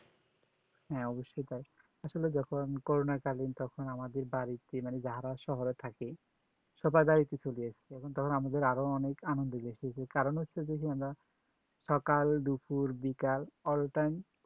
হ্যাঁ অবশই তাই আসলে দেখো করুনা কালিন তখন আমাদের বাড়িতে মানে যারা শহরে থাকে সবাই বাড়ি চলেএসছে তখন আমাদের আরো আনন্দ পাইসি কারণ হচ্ছে যে আমরা সকাল দুপুর বিকেল all time